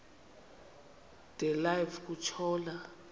de live kutshona